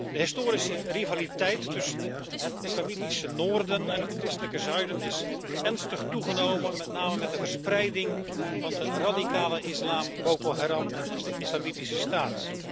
De historische rivaliteit tussen het islamitische noorden en het christelijke zuiden is ernstig toegenomen, met name met de verspreiding van de radicale islam Boko Haram en Islamitische Staat.